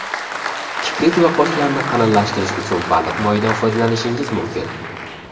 Kiprik va qoshlarni qalinlashtirish uchun baliq moyidan foydalanishingiz mumkin.